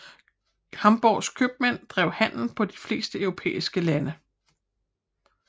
Hamborgs købmænd drev handel på de fleste europæiske lande